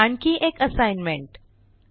आणखी एक असाईनमेंट 1